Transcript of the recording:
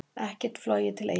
Ekkert flogið til Eyja